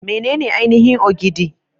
Menene ainihin Ogidi?